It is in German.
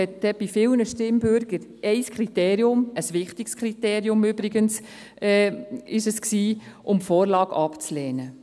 Für viele Stimmberechtigte war dies ein Kriterium – übrigens ein wichtiges Kriterium – um die Vorlage abzulehnen.